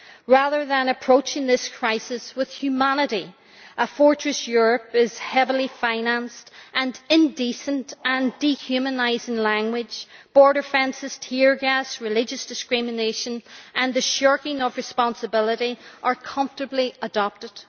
Rather than approaching this crisis with humanity, a fortress Europe is heavily financed, and indecent and dehumanising language, border fences, tear gas, religious discrimination and the shirking of responsibility are comfortably adopted.